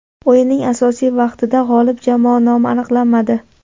O‘yinning asosiy vaqtida g‘olib jamoa nomi aniqlanmadi.